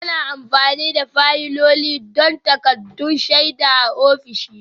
Ana amfani da fayiloli don takaddun shaida a ofisoshi